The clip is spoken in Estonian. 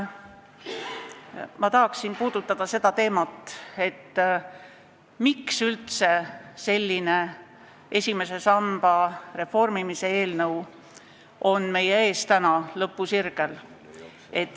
Ma tahan puudutada teemat, miks üldse selline esimese samba reformimise eelnõu on meil täna lõpusirgel.